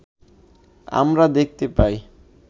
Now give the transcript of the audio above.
আমরা দেখতে পাই